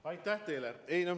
Aitäh teile!